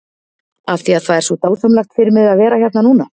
Af því að það er svo dásamlegt fyrir mig að vera hérna núna?